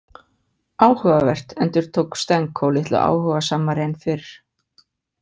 Áhugavert, endurtók Stenko litlu áhugasamari en fyrr.